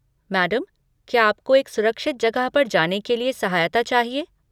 Madam, क्या आपको एक सुरक्षित जगह पर जाने के लिए सहायता चाहिए?